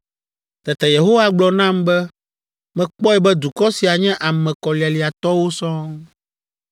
Tete Yehowa gblɔ nam be, “Mekpɔe be dukɔ sia nye ame kɔlialiatɔwo sɔŋ.